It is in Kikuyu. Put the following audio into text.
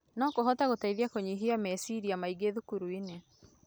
No kũhote gũteithia kũnyihia meciaria maingĩ thukuru-inĩ.